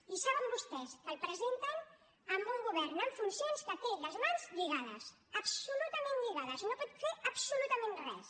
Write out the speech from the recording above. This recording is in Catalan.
i saben vostès que el presenten a un govern en funcions que té les mans lligades absolutament lligades no pot fer absolutament res